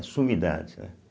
É sumidade, né.